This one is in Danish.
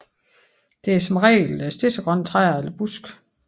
Det er som regel stedsegrønne træer eller buske